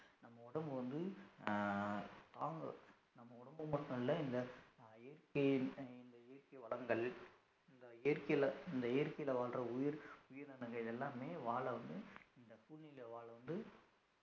நம்ம உடம்பு வந்து அஹ் தாங்கும் நம்ம உடம்பு மட்டும் இல்ல இந்த இயற்கை விவசாயம் இந்த இயற்கை வளங்கள் இந்த இயற்கையில இந்த இயற்கையில வாழ்ற உயிர் உயிரினங்கள் இதெல்லாமே வாழ வந்து இந்த பூமியில வாழ வந்து